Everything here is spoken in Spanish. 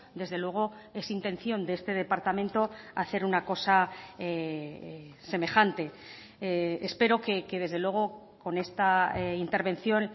desde luego es intención de este departamento hacer una cosa semejante espero que desde luego con esta intervención